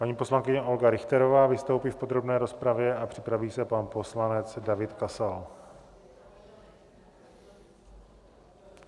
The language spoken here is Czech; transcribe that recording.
Paní poslankyně Olga Richterová vystoupí v podrobné rozpravě a připraví se pan poslanec David Kasal.